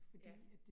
Ja